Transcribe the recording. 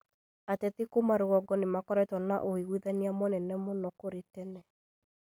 Ateti kuma rũgongo nĩmakoretwo na ũiguithania mũnene mũno kũrĩ tene